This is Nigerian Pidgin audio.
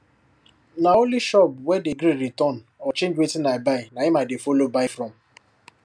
na only shop wey dey gree return or change wetin i buy na him i dey follow buy from